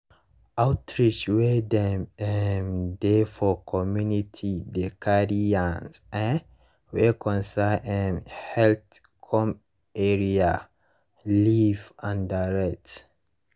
outreach wey dem um dey for community dey carry yarns[um]wey concern um health come area live and direct.